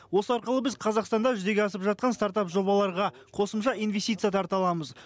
осы арқылы біз қазақстанда жүзеге асып жатқан стартап жобаларға қосымша инвестиция тарта аламыз